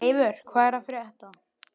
Eivör, hvað er að frétta?